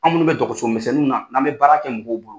An minnu bɛ dɔgɔso misɛnninw na n'an bɛ baara kɛ mɔgɔw bolo.